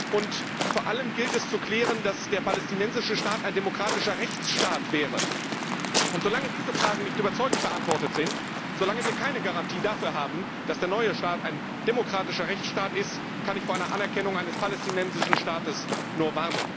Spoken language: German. und vor allem gilt es zu klären, dass der palästinensische Staat ein demokratischer Rechtsstaat wäre. Solange diese Fragen nicht überzeugend beantwortet sind, solange wir keine Garantie dafür haben, dass der neue Staat ein demokratischer Rechtsstaat ist, kann ich vor einer Anerkennung eines palästinensischen Staates nur